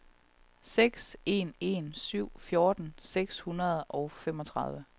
seks en en syv fjorten seks hundrede og femogtredive